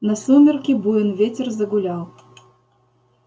на сумерки буен ветер загулял